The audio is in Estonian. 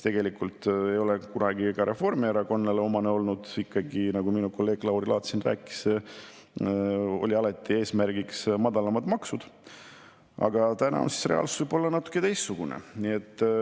Tegelikult ei ole see olnud omane ka Reformierakonnale – nagu minu kolleeg Lauri Laats siin rääkis, alati on olnud eesmärgiks madalamad maksud –, aga ju siis täna on reaalsus võib-olla natuke teistsugune.